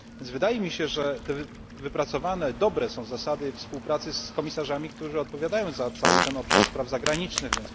Wydaje mi się, że te wypracowane zasady współpracy z komisarzami, którzy odpowiadają za cały ten obszar spraw zagranicznych, tzn.